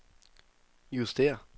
justér